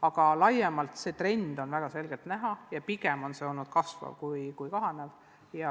Aga laiemalt on see trend väga selgelt näha ja pigem on see olnud kasvav kui kahanev.